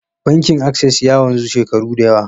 Bankin Access ya wanzu shekaru da yawa.